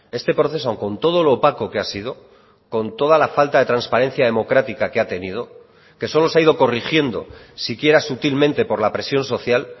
este proceso con todo lo opaco que ha sido con toda la falta de transparencia democrática que ha tenido que solo se ha ido corrigiendo siquiera sutilmente por la presión social